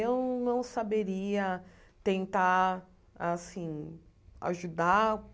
Eu não saberia tentar, assim, ajudar.